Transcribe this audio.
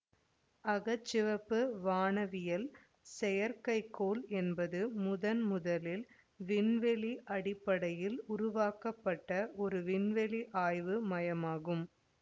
அக சிவப்பு வானவியல் செயற்கைக்கோள் என்பது முதன்முதலில் விண்வெளி அடிப்படையில் உருவாக்கப்பட்ட ஒரு விண்வெளி ஆய்வு மையமாகும்